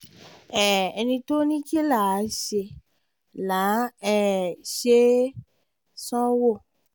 um ẹni tó ní kín láá ṣe láá um ṣe é sanwó